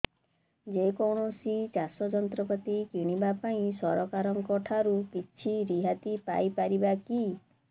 ଯେ କୌଣସି ଚାଷ ଯନ୍ତ୍ରପାତି କିଣିବା ପାଇଁ ସରକାରଙ୍କ ଠାରୁ କିଛି ରିହାତି ପାଇ ପାରିବା କି